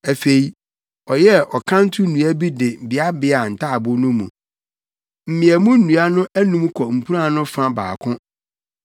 Afei, ɔyɛɛ ɔkanto nnua bi de beabeaa ntaaboo no mu. Mmeamu nnua no anum kɔ mpuran no fa baako.